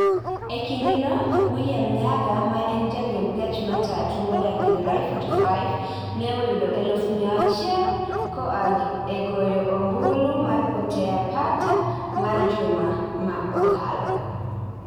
E kindeno, William Nyaga, ma en jariemb gach matatu modak Githurai 45, ne oyudo eluf mia achiel koa e goyo ombulu mar potea pata mar juma ma okalo.